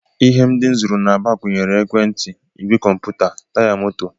Ihe ndị m zụrụ n'Aba gụnyere ekwentị, ìgwè kọmputa, Taya moto